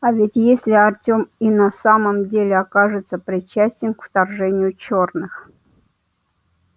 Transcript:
а ведь если артем и на самом деле окажется причастен к вторжению черных